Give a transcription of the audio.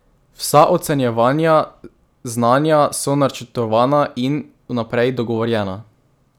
Vsa ocenjevanja znanja so načrtovana in vnaprej dogovorjena.